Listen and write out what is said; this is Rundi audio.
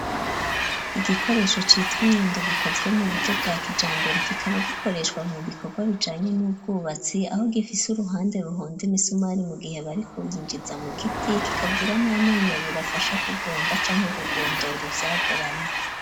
Igikoresho citwa inyundo gikozwe mu buryo bwa kijambere kikaba gikoreshwa mu bikorwa bijanye n'ubwubatsi aho gifise uruhande ruhonda imisumari mu gihe bariko binjiza mu giti kikagira n'amenyo abiri afasha kugonda canke kugondora ivyagoramye.